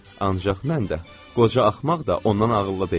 Ancaq mən də, qoca axmaq da ondan ağıllı deyiləm.